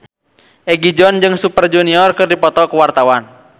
Egi John jeung Super Junior keur dipoto ku wartawan